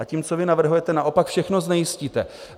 A tím, co vy navrhujete, naopak všechno znejistíte.